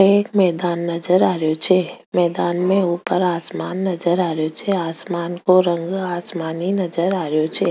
एक मैदान नजर आरो छ मैदान में ऊपर एक आसमान नजर आ रो छे आसमान को रंग आसमानी नजर आ रो छे।